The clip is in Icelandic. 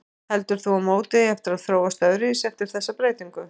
Heldur þú að mótið eigi eftir að þróast öðruvísi eftir þessa breytingu?